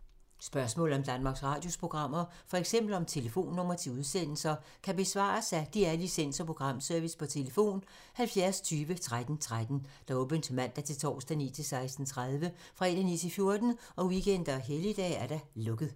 Spørgsmål om Danmarks Radios programmer, f.eks. om telefonnumre til udsendelser, kan besvares af DR Licens- og Programservice: tlf. 70 20 13 13, åbent mandag-torsdag 9.00-16.30, fredag 9.00-14.00, weekender og helligdage: lukket.